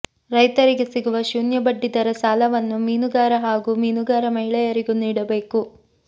ರೈತರಿಗೆ ಸಿಗುವ ಶೂನ್ಯ ಬಡ್ಡಿದರ ಸಾಲವನ್ನು ಮೀನುಗಾರ ಹಾಗೂ ಮೀನುಗಾರ ಮಹಿಳೆಯರಿಗೂ ನೀಡಬೇಕು